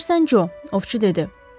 Bilirsən Jo, ovçu dedi.